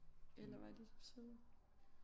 Eller var de søde